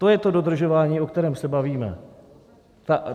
To je to dodržování, o kterém se bavíme.